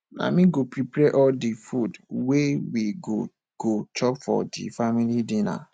na me go prepare all di food wey we go go chop for di family dinner